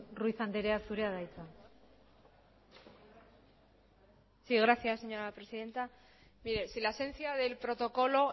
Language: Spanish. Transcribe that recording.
ruiz andrea zurea da hitza sí gracias señora presidenta mire si la esencia del protocolo